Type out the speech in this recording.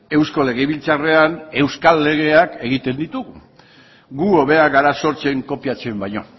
eusko legebiltzarrean euskal legeak egiten ditugu gu hobeak gara sortzen kopiatzen baino